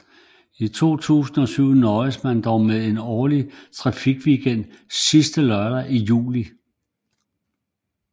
Fra 2007 nøjedes man dog med en årlig trafikweekend sidste lørdag i juli